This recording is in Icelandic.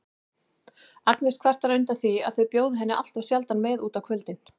Agnes kvartar undan því að þau bjóði henni alltof sjaldan með út á kvöldin.